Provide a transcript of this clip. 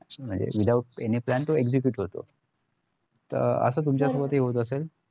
अं म्हणजे without any plan ते जे execute होतो असं तुमच्या बाबतीतहि होत असेल